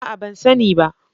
A'a! Ban sani ba.